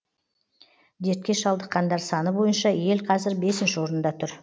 дертке шалдыққандар саны бойынша ел қазір бесінші орында тұр